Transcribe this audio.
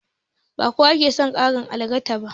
Ba kowa ke son ƙarar algaita ba.